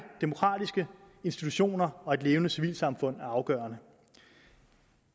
demokratiske institutioner og et levende civilsamfund er afgørende